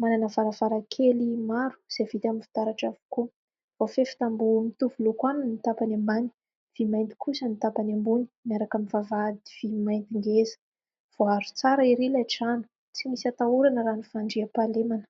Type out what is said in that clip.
manana varavarankely maro izay vita amin'ny fitaratra avokoa, voafefy tamboho mitovy loko aminy ny tapany ambany, mainty kosa ny tapany ambony, miaraka amin'ny vavahady vy mainty ngeza ; voaharo tsara ery ilay trano, tsy misy hatahorana raha ny fandriam-pahalemana.